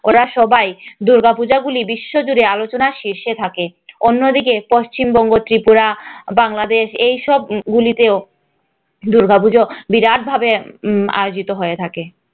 ওরা সবাই দুর্গাপূজাগুলি বিশ্বজুড়ে আলোচনার শীর্ষে থাকে অন্যদিকে পশ্চিমবঙ্গ, ত্রিপুরা বাংলাদেশে এই সব গুলিতেও দুর্গাপূজা বিরাট ভাবে আয়োজিত হয়ে থাকে।